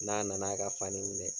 N'a nan'a ka fani minɛ.